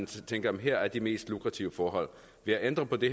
tænker at der her er de mest lukrative forhold ved at ændre på det